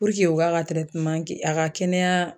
Puruke u ka a ka kɛnɛya.